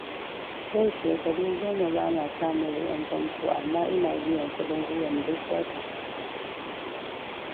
Yau shekaru goma ba ma samun ruwan fanfo, amma ina biyan kuɗin ruwan duk wata.